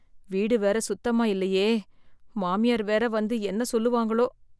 வீடு வேற சுத்தமா இல்லையே மாமியார் வேற என்ன வந்து என்ன சொல்லுவாங்களோ